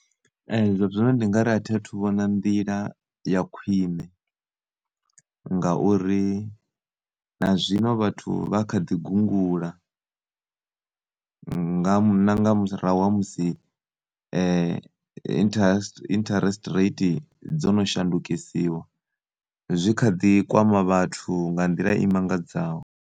Ee, zwazwino ndi ngari athiathu vhona nḓila ya khwine ngauri nazwino vhathu vhakhaḓi gungula, nga na nga murahu hamusi interest, interest rate dzono shandukisiwa zwi khaḓi kwama vhathu nga nḓila imangadzaho.